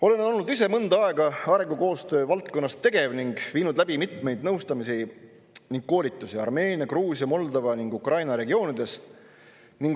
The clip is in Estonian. Olen olnud ise mõnda aega arengukoostöö valdkonnas tegev ning viinud läbi mitmeid nõustamisi ning koolitusi Armeenia, Gruusia, Moldova ja Ukraina regioonides.